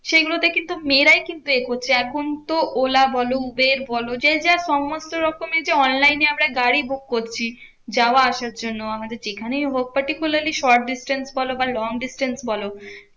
সেইগুলোতে কিন্তু মেয়েরাই কিন্তু এ করছে। এখন তো ওলা বলো, উবের বলো যে যা সমস্ত রকমই যে online এ আমরা গাড়ি book করছি যাওয়া আসার জন্য, আমাদের যেখানেই হোক particularly short distance বোলো বা long distance বলো